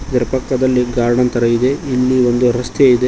ಇದರ ಪಕ್ಕದಲ್ಲಿ ಗಾರ್ಡನ್ ತರ ಇದೆ ಇಲ್ಲಿ ಒಂದು ರಸ್ತೆ ಇದೆ.